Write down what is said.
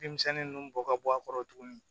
Bin misɛnnin ninnu bɔ ka bɔ a kɔrɔ tuguni